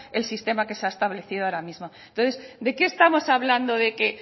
el sistema que se establecido ahora mismo entonces de qué estamos hablando de que